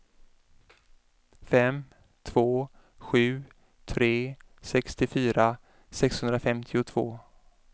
fem två sju tre sextiofyra sexhundrafemtiotvå